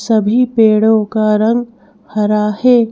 सभी पेड़ों का रंग हरा है।